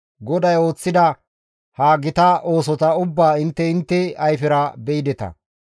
GODAY ooththida ha gita oosota ubbaa intte intte ayfera be7ideta.